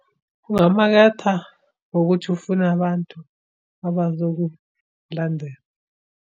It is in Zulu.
Ungamaketha ngokuthi ufune abantu abazokulandela.